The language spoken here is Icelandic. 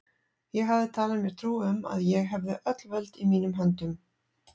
Ég hafði talið mér trú um, að ég hefði öll völd í mínum höndum.